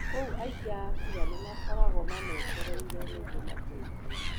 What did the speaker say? Kũu aikia a kũra nĩmakoragwo mametereire nĩguo mateithio